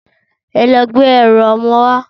Ẹ lọ gbé ẹrù ọmọ wá!